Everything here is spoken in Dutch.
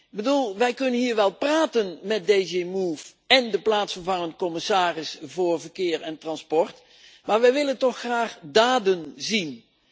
Ik bedoel, wij kunnen hier wel praten met DG MOVE en de plaatsvervangend commissaris voor Verkeer en Transport, maar we willen toch graag daden zien.